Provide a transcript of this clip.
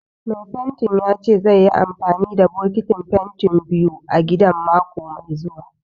Mai fentin ya ce zaiyi amfani da bokitin fentin biyu a gidan mako mai zuwa.